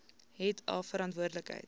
het a verantwoordelik